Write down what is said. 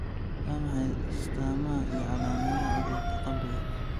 Waa maxay astamaha iyo calaamadaha cudurka qabriga?